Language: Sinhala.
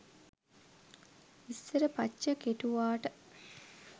ඉස්සර පච්ච කෙටුවාට